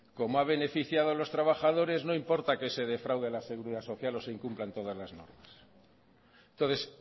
como ha beneficiado a los trabajadores no importa que se defraude a la seguridad social o se incumplan todas las normas entonces